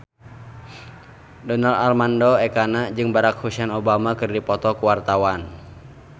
Donar Armando Ekana jeung Barack Hussein Obama keur dipoto ku wartawan